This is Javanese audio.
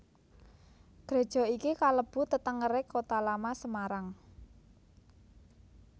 Gréja iki kalebu tetengeré Kota Lama Semarang